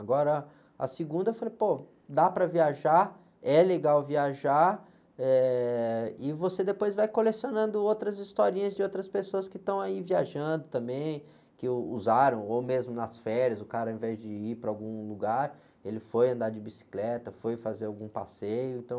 Agora, a segunda eu falei, pô, dá para viajar, é legal viajar, eh, e você depois vai colecionando outras historinhas de outras pessoas que estão aí viajando também, que usaram, ou mesmo nas férias, o cara ao invés de ir para algum lugar, ele foi andar de bicicleta, foi fazer algum passeio, então...